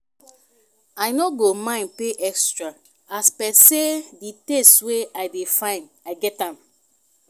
i no go mind pay extra as per say di taste wey i dey find i get am